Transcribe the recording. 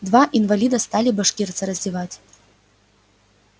два инвалида стали башкирца раздевать